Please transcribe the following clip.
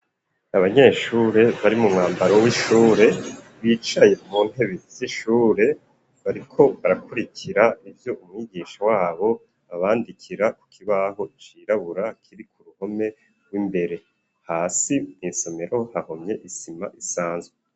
Abanyeshure bari mu mwambaro w'ishure bicaye mu ntebe z'ishure bariko barakurikira ivyo umwigisha wabo abandikira ku kibaho cirabura kiri ku ruhome rw'imbere hasi mw'isomero hahomye isima isanzwe.